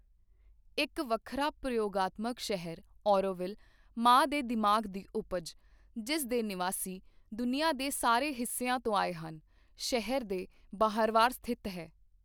ਇੱਕ ਵੱਖਰਾ ਪ੍ਰਯੋਗਾਤਮਕ ਸ਼ਹਿਰ ਔਰੋਵਿੱਲ, ਮਾਂ ਦੇ ਦਿਮਾਗ ਦੀ ਉਪਜ, ਜਿਸ ਦੇ ਨਿਵਾਸੀ ਦੁਨੀਆ ਦੇ ਸਾਰੇ ਹਿੱਸਿਆਂ ਤੋਂ ਆਏ ਹਨ, ਸ਼ਹਿਰ ਦੇ ਬਾਹਰਵਾਰ ਸਥਿਤ ਹੈ।